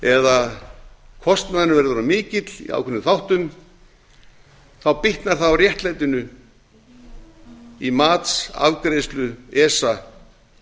eða kostnaðurinn verður of mikill í ákveðnum þáttum bitnar það á réttlætinu í matsafgreiðslu esa